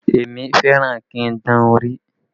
Èmi fẹ́ràn kí n dán orí